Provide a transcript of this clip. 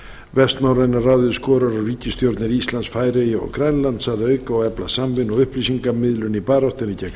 vestnorræna ráðið skorar á ríkisstjórnir íslands færeyja og grænlands að auka og efla samvinnu og upplýsingamiðlun í baráttunni gegn